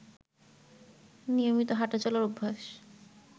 নিয়মিত হাঁটাচলার অভ্যাস